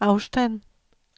afstand